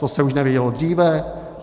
To se už nevědělo dříve?